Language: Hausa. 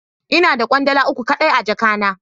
Ina da kwandala uku kai dai a jaka na.